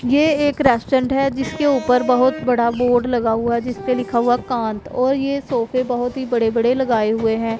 ये एक रेस्टोरेंट है जिसके ऊपर बहोत बड़ा बोर्ड लगा हुआ है जिसपे लिखा हुआ कांत और ये सोफे बहोत ही बड़े बड़े लगाए हुए हैं।